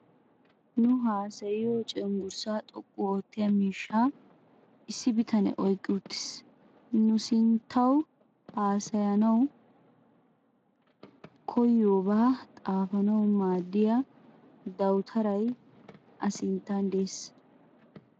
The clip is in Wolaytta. Nu haasayiyo cenggurssaa xoqqu oottiya miishsha issi bitanee oyiqqidi uttiis. Nu sinttawu hassayanawu koyyiyoobaa xaafanawu maaddiya dawutaray a sinttan De'ees.